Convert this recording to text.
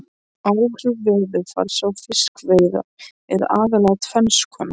Áhrif veðurfars á fiskveiðar eru aðallega tvenns konar.